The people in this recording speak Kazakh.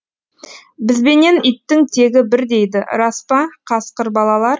бізбенен иттің тегі бір дейді рас па қасқыр бабалар